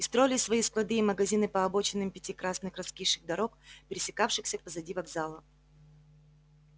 и строили свои склады и магазины по обочинам пяти красных раскисших дорог пересекавшихся позади вокзала